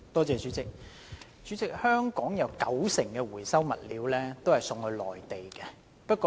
代理主席，香港的回收物料有九成送往內地。